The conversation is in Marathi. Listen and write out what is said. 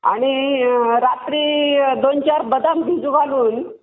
आणि रात्री दोन चार बदाम भिजू घालून